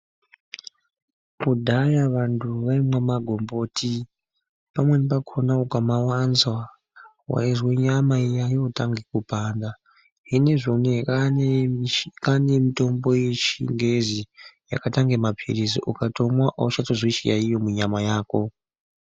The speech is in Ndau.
Kudhaya vanthu vaimwa magomboti paneni pacho waiti ukamawanza waizwa nyama yootange kupanda zvinezvi unowu kwaane mitombo yechingezi yakaita unga mapilizi ukatomwa auchatozwi chiyaeyo munyama mako.